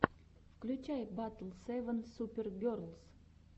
включай батл севен супер герлс